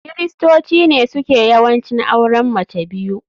kiristoci ne suke yawanci auren mace biyu.